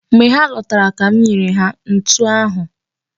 Mgbe ha lọtara ka m nyere ha ntụ ahụ.